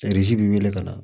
bɛ weele ka na